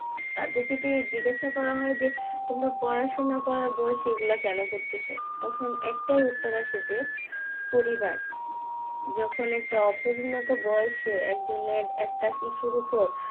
তাদের যদি জিজ্ঞাসা করা হয় যে তোমরা পড়াশোনা করার বয়সে এই গুলা কোনো করতেছ তখন একটাই উত্তর আসে যে পরিবার যখন একটা অপরিণত বয়সে একজনের একটা শিশুর উপর